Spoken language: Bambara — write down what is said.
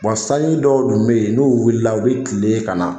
sanji dɔw dun bɛ yen n'olu wulila u bɛ tilen ka na